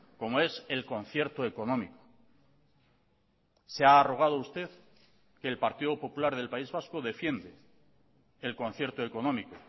como es el concierto económico se ha arrogado usted que el partido popular del país vasco defiende el concierto económico